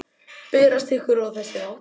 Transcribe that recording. Berast ykkur. og þess háttar?